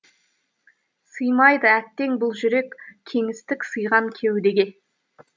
сыймайды әттең бұл жүрек кеңістік сыйған кеудеге